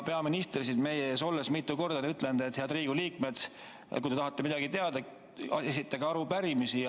Peaminister on siin meie ees olles mitu korda on ütelnud, et, head Riigikogu liikmed, kui te tahate midagi teada, esitage arupärimisi.